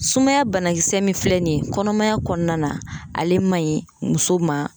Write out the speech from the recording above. Sumaya banakisɛ min filɛ nin ye kɔnɔmaya kɔnɔna na, ale man ɲi muso ma.